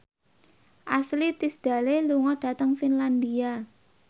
Ashley Tisdale lunga dhateng Finlandia